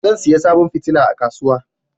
zan saya sabon kilifa a kasuwa